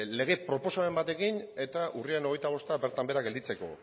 lege proposamen batekin urriaren hogeita bosta bertan behera gelditzeko